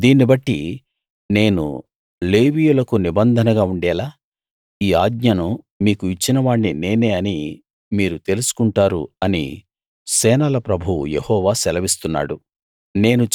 దీన్ని బట్టి నేను లేవీయులకు నిబంధనగా ఉండేలా ఈ ఆజ్ఞను మీకు ఇచ్చిన వాణ్ణి నేనే అని మీరు తెలుసు కుంటారు అని సేనల ప్రభువు యెహోవా సెలవిస్తున్నాడు